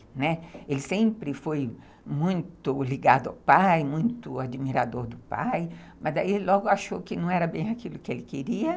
Né, ele sempre foi muito ligado ao pai, muito admirador do pai, mas daí logo achou que não era bem aquilo que ele queria.